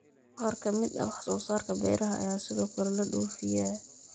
Qaar ka mid ah wax soo saarka beeraha ayaa sidoo kale la dhoofiyaa.